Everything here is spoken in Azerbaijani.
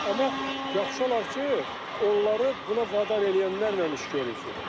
Amma yaxşı olar ki, onları buna vadar eləyənlərlə iş görülsün.